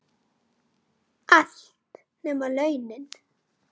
Allt, nema launin.